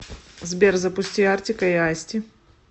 сбер запусти артика и асти